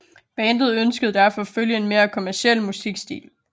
Bandet ønskede derfor at følge en mere kommerciel musikstil